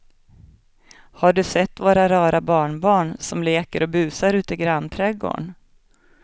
Har du sett våra rara barnbarn som leker och busar ute i grannträdgården!